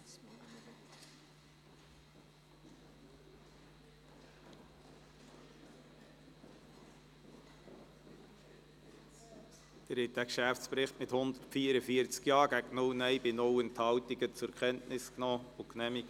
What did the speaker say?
Sie haben diesen Geschäftsbericht mit 144 Ja- gegen 0 Nein-Stimmen bei 0 Enthaltungen zur Kenntnis genommen und genehmigt.